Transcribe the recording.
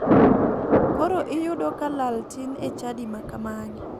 Koro iyudo ka lal tin e chadi ma kamagi.